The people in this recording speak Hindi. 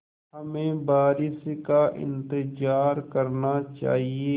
हमें बारिश का इंतज़ार करना चाहिए